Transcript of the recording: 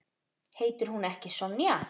Heitir hún ekki Sonja?